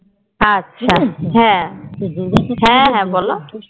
আচ্ছা হ্যাঁ হ্যাঁ হ্যাঁ বলো,